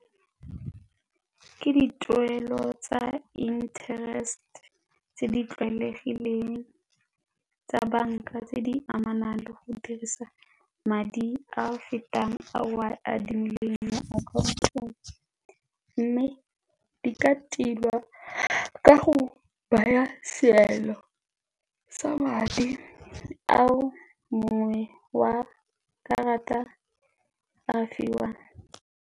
Ke dituelo tsa interest tse di tlwaelegileng tsa banka tse di amanang le go dirisa madi a fetang a o a adimileng akhaontong mme di ka tilwa ka go baya seelo sa madi ao mongwe wa karata a fiwang.